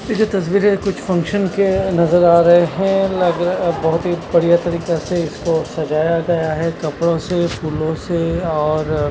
ये जो तस्वीरे कुछ फंक्शन के नजर आ रहे हैं लग रहा बहुत ही बढ़िया तरीका से इसको सजाया गया है कपड़ों से फूलों से और--